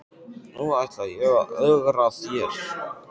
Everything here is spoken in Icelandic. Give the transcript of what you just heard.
Nú ætla ég að ögra þér.